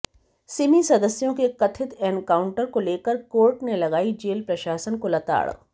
सिमी सदस्यों के कथित एनकाउंटर को लेकर कोर्ट ने लगाई जेल प्रशासन को लताड़